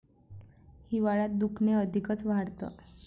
हिवाळ्यात दुखणे अधिकच वाढतं.